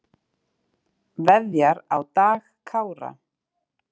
Veðjar á Dag Kára